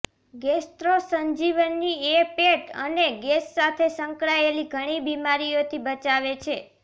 gastro Sanjeevani એ પેટ અને ગેસ સાથે સંકળાયેલી ઘણી બીમારીઓથી બચાવે છે